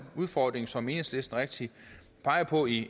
udfordring som enhedslisten rigtigt peger på i